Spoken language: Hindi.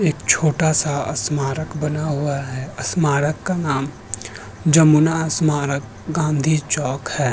एक छोटा सा स्मारक बना हुआ है। स्मारक का नाम जमुना स्मारक गांधी चौक है।